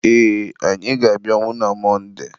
ee, anyị ga-abịanwu na Monde